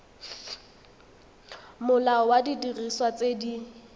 molao wa didiriswa tse di